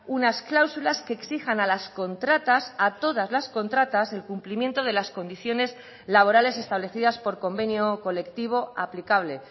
unas cláusulas que exijan a las contratas a todas las contratas el cumplimiento de las condiciones laborales establecidas por convenio colectivo aplicable